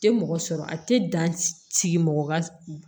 Tɛ mɔgɔ sɔrɔ a tɛ dan sigi mɔgɔ ka